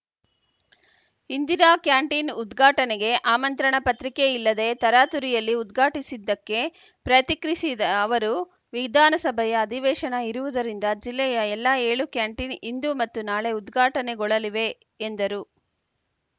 Indira canteen ಉದ್ಘಾಟನೆಗೆ ಆಮಂತ್ರಣ ಪತ್ರಿಕೆ ಇಲ್ಲದೆ ತರಾತುರಿಯಲ್ಲಿ ಉದ್ಘಾಟಿಸಿದ್ದಕ್ಕೆ ಪ್ರತಿಕ್ರಿಸಿದ ಅವರು ವಿಧಾನಸಭೆಯ ಅಧಿವೇಶನ ಇರುವುದರಿಂದ ಜಿಲ್ಲೆಯ ಎಲ್ಲ ಏಳು ಕ್ಯಾಂಟೀನ್‌ ಇಂದು ಮತ್ತು ನಾಳೆ ಉದ್ಘಾಟನೆಗೊಳಲಿವೆ ಎಂದರು